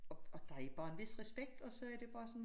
Og og der er jo bare en vis respekt og så er det bare sådan